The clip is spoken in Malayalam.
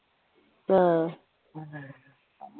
ആഹ്